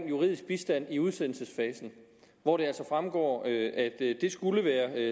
juridisk bistand i udsendelsesfasen hvor det altså fremgår at det skulle være